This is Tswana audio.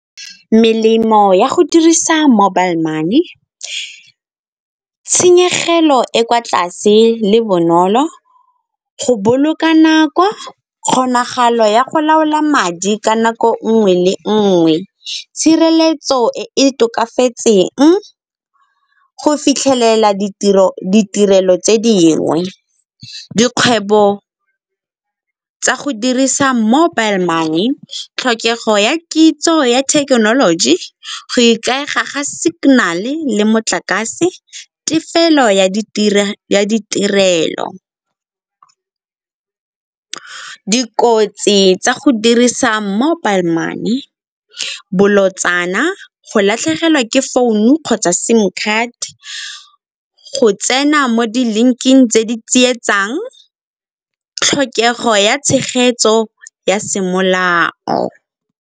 Melemo ya go dirisa mobile money, tshenyegelo e kwa tlase le bonolo go boloka nako, kgonagalo ya go laola madi ka nako nngwe le nngwe tshireletso e tokafatseng go fitlhelela ditirelo tse dingwe. Dikgwebo tsa go dirisa mobile money, tlhokego ya kitso ya thekenoloji go ikaega ga signal-e motlakase, tefelo ya ditirelo. Kotsi tsa go dirisa mobile money ke bolotsana, go latlhegelwa ke founu kgotsa sim card, go tsena mo di-link-ing tse di tsietsang, tlhokego ya tshegetso ya semolao.